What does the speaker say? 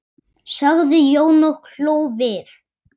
sagði Jón og hló við.